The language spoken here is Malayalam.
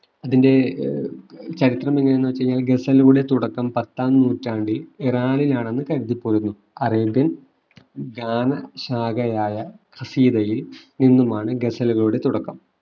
ഇതിന്റെ ഏർ ചരിത്രം എങ്ങനെയാ ന്നു വെച്ച്കഴിഞ്ഞാല് ഗസലുകളെ തുടക്കം പത്താം നൂറ്റാണ്ടിൽ ഇറാനിൽ ആണെന്ന് കരുതിപ്പോരുന്നു അറേബ്യൻ ഗാനശാഖയായ കസീതയിൽ നിന്നുമാണ് ഗസലുകളുടെ തുടക്കം